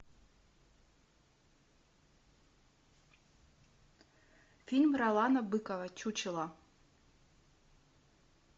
фильм ролана быкова чучело